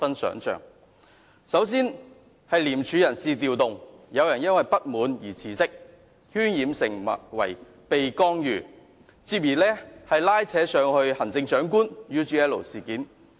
首先，廉署有人事調動，有人因為不滿而辭職，事件被渲染成為受到干預，繼而拉扯上行政長官與 UGL 事件。